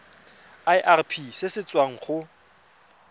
irp se se tswang go